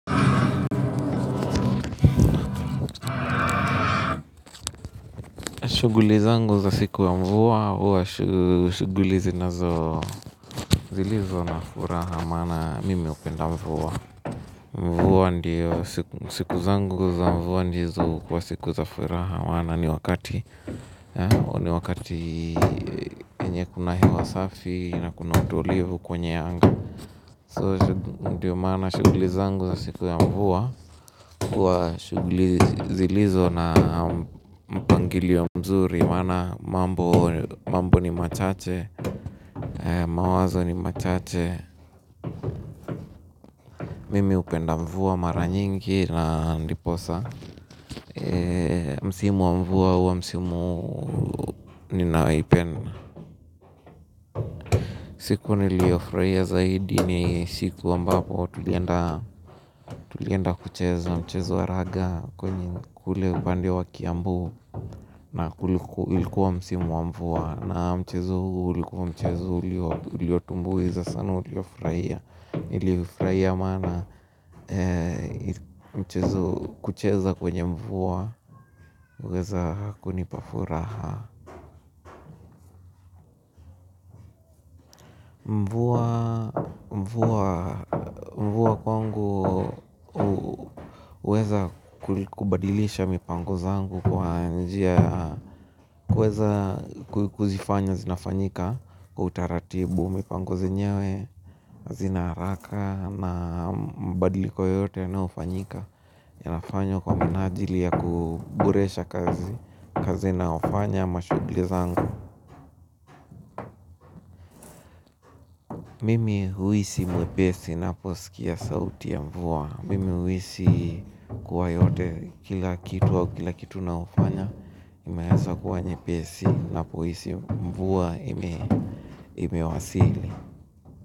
Shughuli zangu za siku ya mvua, huwa shughuli zinazo, zilizo na furaha maana mimi hupenda mvua. Mvua ndio siku zangu za mvua ndizo huwa siku za furaha maana ni wakati, ni wakati yenye kuna hewa safi, na kuna utulivu kwenye anga. So, ndio maana shughuli zangu za siku ya mvua huwa shughuli zilizo na mpangilio mzuri maana mambo ni machache, mawazo ni machache mimi hupenda mvua mara nyingi na ndiposa msimu wa mvua hua msimu ninaopenda siku nilio furahia zaidi ni siku ambapo tulienda kucheza mchezo wa raga kule upande wa Kiambu na ilikuwa msimu wa mvua na mchezo huu ulikuwa mchezo uliotumbuiza sana uliofurahia, niliufurahia maana mchezo, kucheza kwenye mvua huweza kunipa furaha mvua kwangu huweza kubadilisha mipango zangu kwa njia huweza kuzifanya zinafanyika kwa utaratibu, mipango zenyewe hazina haraka na mabadiliko yoyote yanayo fanyika yanafanywa kwa minajili ya kuboresha kazi na hufanya mashughuli zangu mimi huhisi mwepesi napo sikia sauti ya mvua, mimi huhisi kuwa yote, kila kitu au kila kitu nao fanya imeanza kuwa nyepesi napo hisi mvua imewasili.